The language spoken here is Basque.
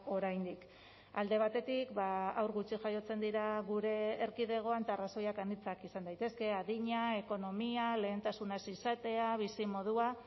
oraindik alde batetik haur gutxi jaiotzen dira gure erkidegoan eta arrazoiak anitzak izan daitezke adina ekonomia lehentasuna ez izatea bizi modua